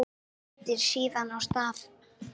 Hann mætir síðan á stað